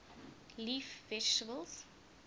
leaf vegetables